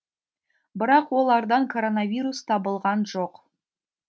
бірақ олардан коронавирус табылған жоқ